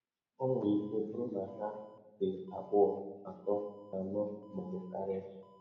Ọ nwere ike bụrụ na ha dị abụọ, atọ, anọ, ma ọ bụ karịa.